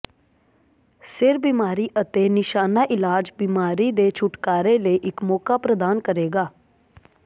ਸਿਰ ਬੀਮਾਰੀ ਅਤੇ ਨਿਸ਼ਾਨਾ ਇਲਾਜ ਬਿਮਾਰੀ ਦੇ ਛੁਟਕਾਰੇ ਲਈ ਇੱਕ ਮੌਕਾ ਪ੍ਰਦਾਨ ਕਰੇਗਾ